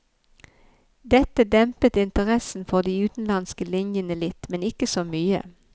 Dette dempet interessen for de utenlandske linjene litt, men ikke så mye.